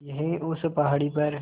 यहीं उस पहाड़ी पर